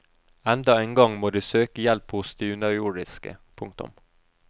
Enda en gang må de søke hjelp hos de underjordiske. punktum